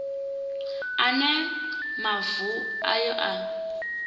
a ne mavu ayo a